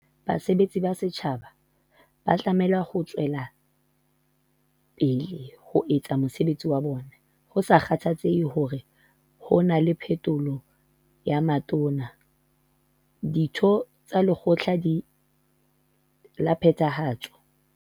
Basebetsi ba setjhaba ba tlameha ho tswe lapele ho etsa mosebetsi wa bona "ho sa kgathalatsehe hore na ho na le phetholo ya Matona, Ditho tsa Lekgotla la Phethahatso kapa Balekgotla mokgatlong o busang o ika rabellang tsamaisong, kapa ha mekgatlo ya dipolotiki e fetoha ka mora dikgetho".